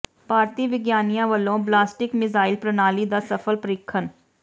ਭਾਰਤੀ ਵਿਗਿਆਨੀਆਂ ਵੱਲੋਂ ballistic missile ਪ੍ਰਣਾਲੀ ਦਾ ਸਫਲ ਪਰੀਖਣ